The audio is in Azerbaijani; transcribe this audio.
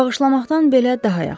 Bağışlamaqdan belə daha yaxşıdır.